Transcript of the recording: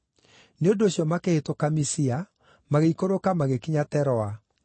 Nĩ ũndũ ũcio makĩhĩtũka Misia, magĩikũrũka magĩkinya Teroa.